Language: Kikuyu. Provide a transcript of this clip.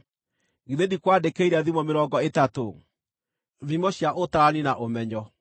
Githĩ ndikwandĩkĩire thimo mĩrongo ĩtatũ, thimo cia ũtaarani na ũmenyo,